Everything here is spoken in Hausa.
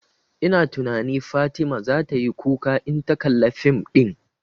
Ina tunani Fatima zata yi kuka in ta kalla fim ɗin